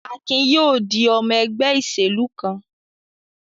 Akin yóò di ọmọ ẹgbẹ́ ìṣèlú kan.